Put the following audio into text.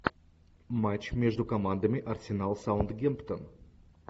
матч между командами арсенал саутгемптон